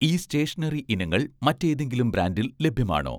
ഈ സ്റ്റേഷണറി ഇനങ്ങൾ മറ്റേതെങ്കിലും ബ്രാൻഡിൽ ലഭ്യമാണോ?